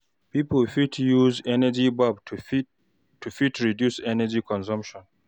Pipo fit use energy bulb to fit reduce energy consumption